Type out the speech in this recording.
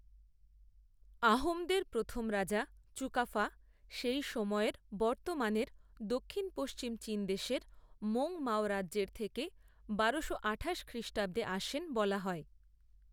আহোমদের প্রথম রাজা চুকাফা সেই সময়ের বর্ত্তমানের দক্ষিণ পশ্চিম চীনদেশের মৌঙ মাও রাজ্যের থেকে বারোশো আঠাশ খ্রিষ্টাব্দে আসেন বলা হয়।